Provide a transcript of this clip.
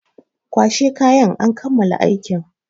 Kwashe kayan! an kammala aikin.